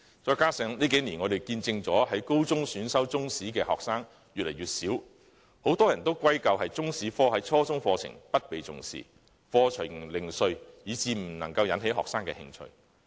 再者，這幾年我們見證了在高中選修中史的學生越來越少，很多人把這情況歸咎於中史科在初中課程中不受重視，課程零碎，以致未能引起學生的興趣。